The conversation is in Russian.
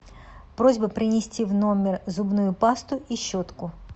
просьба принести в номер зубную пасту и щетку